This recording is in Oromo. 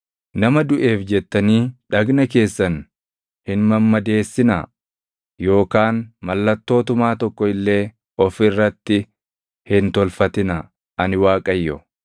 “ ‘Nama duʼeef jettanii dhagna keessan hin mammadeessinaa yookaan mallattoo tumaa tokko illee of irratti hin tolfatinaa. Ani Waaqayyo.